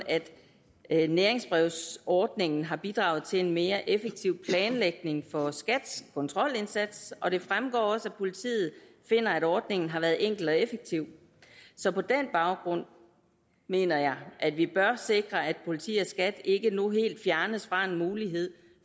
at næringsbrevsordningen har bidraget til en mere effektiv planlægning for skats kontrolindsats og det fremgår også at politiet finder at ordningen har været enkel og effektiv så på den baggrund mener jeg at vi bør sikre at politiet og skat ikke nu helt fjernes fra muligheden